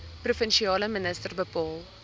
provinsiale minister bepaal